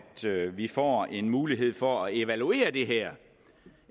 vi får en mulighed for at evaluere det her